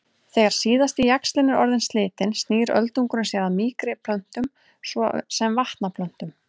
Þegar síðasti jaxlinn er orðinn slitinn snýr öldungurinn sér að mýkri plöntum svo sem vatnaplöntum.